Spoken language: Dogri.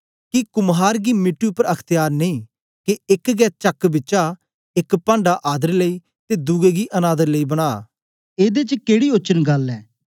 के कुम्हार गी मिट्टी उपर अख्त्यार नेई के एक गै चक बिचा एक पांढा आदर लेई ते दुए गी अनादर लेई बना एदे च केड़ी ओचन गल्ल ऐ